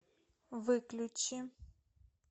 выключи